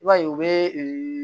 I b'a ye u bɛ